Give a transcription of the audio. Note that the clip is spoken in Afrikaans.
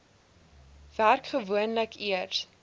werk gewoonlik eers